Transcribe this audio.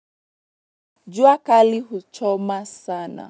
Jua kali huchoma sana.